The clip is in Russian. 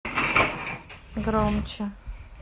громче